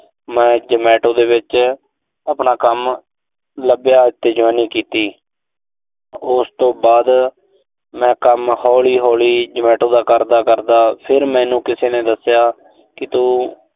ਮੈਂ Zomato ਦੇ ਵਿੱਚ ਆਪਣਾ ਕੰਮ ਲੱਗਿਆ, ਉਥੇ joining ਕੀਤੀ। ਉਸ ਤੋਂ ਬਾਅਦ ਮੈਂ ਕੰਮ ਹੌਲੀ-ਹੌਲੀ Zomato ਦਾ ਕਰਦਾ-ਕਰਦਾ, ਫਿਰ ਮੈਨੂੰ ਕਿਸੇ ਨੇ ਦੱਸਿਆ ਕਿ ਤੂੰ